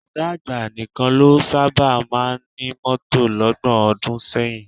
Ọ̀gá àgbà nìkan ló sábà máa ń ní mọ́tò lọ́gbọ̀n ọdún sẹ́yìn